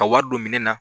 Ka wari don minɛn na